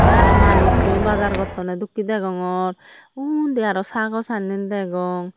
tey aro manusun bazzar gottonney dokkey degogror undi aro sagor sannenbdegong.